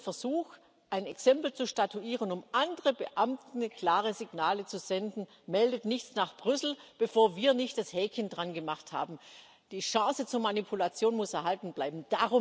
Es geht um den Versuch, ein Exempel zu statuieren, um anderen Beamten klare Signale zu senden Meldet nichts nach Brüssel, bevor wir nicht das Häkchen daran gemacht haben. Die Chance zur Manipulation muss erhalten bleiben.